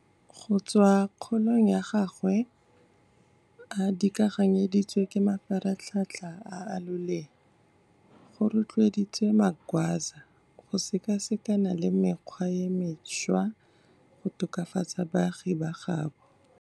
Go tswa kgolong ya gagwe a dikaganyeditswe ke mafaratlhatlha a a loleya, go rotloeditse Magwaza go sekasekana le mekgwa e mešwa go tokafatsa baagi ba gaabo.